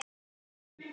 Eva: Af hverju?